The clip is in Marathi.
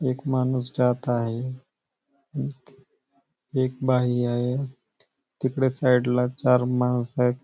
एक माणूस जात आहे एक बाई आहे तिकड साइडला चार माणसयत.